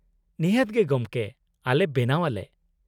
-ᱱᱤᱦᱟᱹᱛ ᱜᱮ ᱜᱚᱢᱠᱮ, ᱟᱞᱮ ᱵᱮᱱᱟᱣ ᱟᱞᱮ ᱾